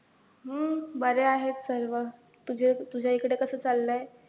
हम्म बरे आहेत सर्व, तुझ्या तुझ्याइकडे कसं चाललंय